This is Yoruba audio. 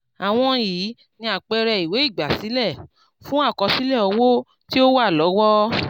àwọn yìí ni àpẹẹrẹ ìwé ígbásílẹ́ fun àkọsílẹ̀ owo tí o wa lọwo.